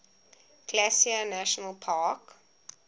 glacier national park